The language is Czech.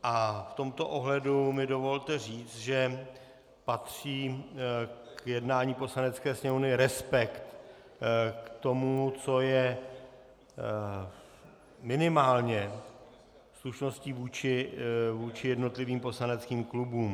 A v tomto ohledu mi dovolte říct, že patří k jednání Poslanecké sněmovny respekt k tomu, co je minimálně slušností vůči jednotlivým poslaneckým klubům.